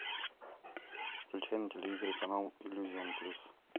включи на телевизоре канал иллюзион плюс